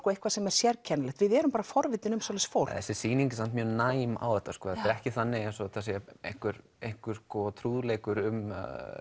og eitthvað sem er sérkennilegt við erum bara forvitin um svoleiðis fólk þessi sýning er mjög næm á þetta þetta er ekki þannig eins og þetta sé einhver einhver trúðleikur um